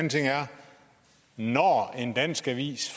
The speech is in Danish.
når en dansk avis